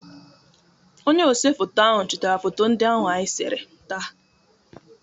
Onye osefoto ahụ chitara foto ndị ahụ anyị sere taa.